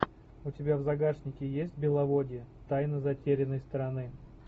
у тебя в загашнике есть беловодье тайна затерянной страны